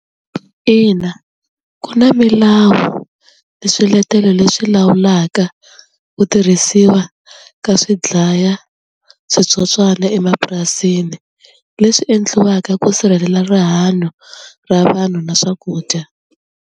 Ina ku na milawu na swiletelo leswi lawulaka ku tirhisiwa ka swidlayaswitsotswana emapurasini leswi endliwaka ku sirhelela rihanyo ra vanhu na swakudya.